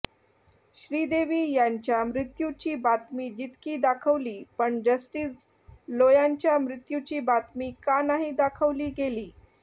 श्रीदेवी यांच्या मृत्यूची बातमी जितकी दाखवली पण जस्टीस लोयांच्या मृत्यूची बातमी का नाही दाखवली गेली